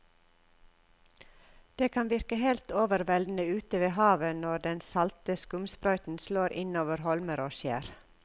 Det kan virke helt overveldende ute ved havet når den salte skumsprøyten slår innover holmer og skjær.